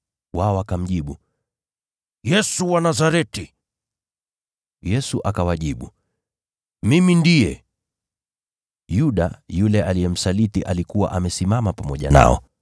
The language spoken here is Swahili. Wao wakamjibu, “Yesu wa Nazareti.” Yesu akawajibu, “Mimi ndiye.” Yuda, yule aliyemsaliti alikuwa amesimama pamoja nao.